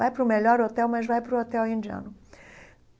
Vá para o melhor hotel, mas vá para o hotel indiano.